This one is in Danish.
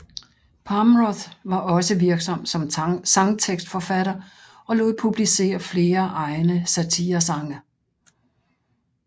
Palmroth var også virksom som sangtekstforfatter og lod publicere flere egne satiresange